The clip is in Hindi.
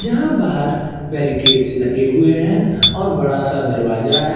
जहां बाहर बेरीकेट्स लगे हुए हैं और बड़ा सा दरवाजा है।